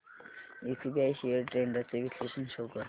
SBI shares trends चे विश्लेषण show कर